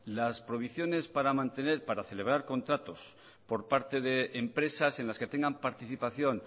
las prohibiciones para mantener o para celebrar contratos por parte de empresas en las que tengan participación